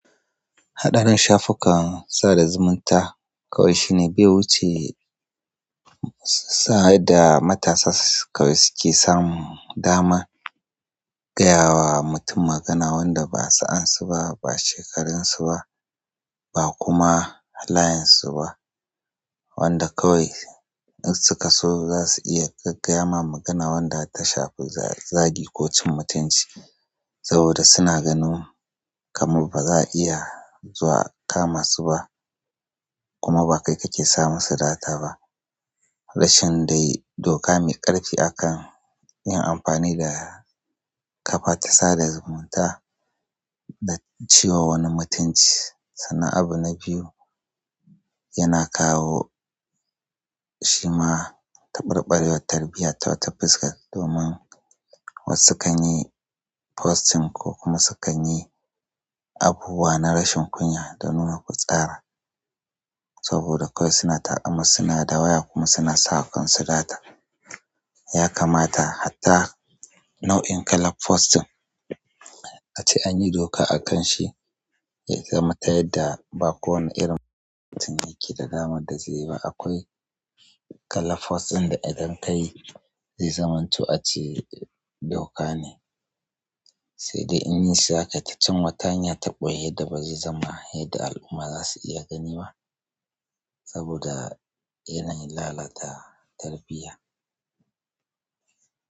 Haɗarin shafukan sada zumunta kawai shine bai wuce sa'ad da matasa suke samun damar gaya wa mutum magana wanda ba sa ansu ba, ba shekarun su ba, ba kuma halayen su ba. Wanda kawai in suka so za su iya gaggaya ma magana wanda ta shafi zagi ko cin mutunci saboda suna ganin kamar baza a iya zuwa akama su ba kuma ba kai kake samusu data ba. Rashin dai doka mai ƙarfi akan yin amfani da ƙafa ta sada zumunta da ciwa wani mutunci. Sannan abu na biyu yana kawo shi ma ta ɓarɓarewar tarbiyya ta wata fuskar domin wasu kanyi posting ko kuma sukanyi abubuwa na rashin kunya da nuna fitsara saboda kawai suna taƙamar, suna dawaya kuma suna sawa kansu sata. Ya kamata hatta nau'in kalar posting a ce anyi doka akan shi ya zamata yadda ba kowane irin posting yake da damar da zai yi ba. Akwai kalaf fos ɗin da idan kayi zai zama to a ce doka ne, sai dai in yi saƙa ta cin wata hanya ta ɓoye yadda bazai zama yadda al'umma za su iya gani ba saboda yana lalata tarbiyya.